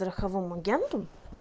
страховому агенту